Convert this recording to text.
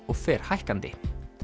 og fer hækkandi